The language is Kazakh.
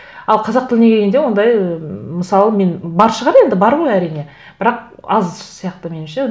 ал қазақ тіліне келгенде ондай ыыы мысалы мен бар шығар енді бар ғой әрине бірақ аз сияқты меніңше